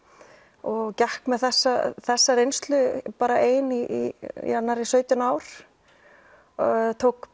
og gekk með þessa þessa reynslu ein í nærri sautján ár ég tók